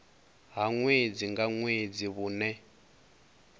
ha ṅwedzi nga ṅwedzi vhune